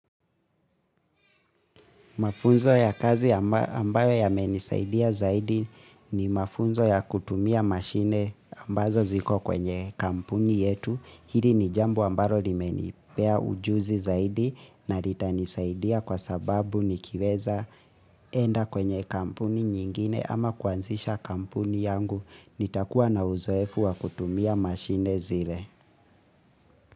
Mafunzo ya kazi ambayo yamenisaidia zaidi ni mafunzo ya kutumia mashine ambazo ziko kwenye kampuni yetu hili ni jambo ambayo limenipea ujuzi zaidi na ritanisaidia kwa sababu nikiweza enda kwenye kampuni nyingine ama kuanzisha kampuni yangu nitakuwa na uzoefu wa kutumia mashine zile.